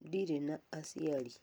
Ndirĩ na aciari